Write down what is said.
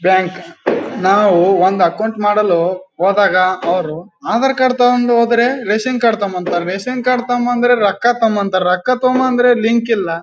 Bank ನಾವು ಒಂದು account ಮಾಡಲು ಹೋದಾಗ ಅವರು ಆಧಾರ್ ಕಾರ್ಡ್ ತಕ್ಕೊಂಡ್ ಹೋದ್ರೆ ರೇಷನ್ ಕಾರ್ಡ್ ತಾಕೋಬನ್ನಿ ಅಂತಾರೆ ರೇಷನ್ ಕಾರ್ಡ್ ತಾಕೋಬಂದ್ರೆ ರೊಕ್ಕ ತಾಕೋಬರ್ರಿ ಅಂತಾರೆ ರೊಕ್ಕ ತಂದ್ರೆ ಲಿಂಕ್ ಇಲ್ಲ .